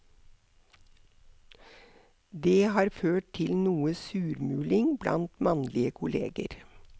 Det har ført til noe surmuling blant mannlige kolleger.